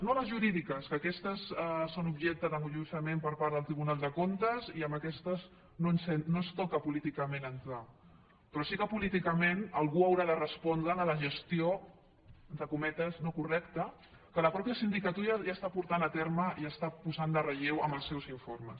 no les jurídiques que aquestes són objecte d’enjudiciament per part del tribunal de comptes i en aquestes no ens toca políticament entrarhi però sí que políticament algú haurà de respondre de la gestió entre cometes no correcta que la mateixa sindicatura ja està portant a terme i està posant en relleu amb els seus informes